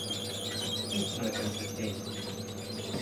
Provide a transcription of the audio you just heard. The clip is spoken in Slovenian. Nič nočem s tem.